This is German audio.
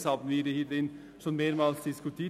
Dies haben wir hier schon mehrmals diskutiert.